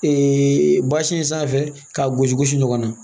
ba sin sanfɛ k'a gosi gosi ɲɔgɔn na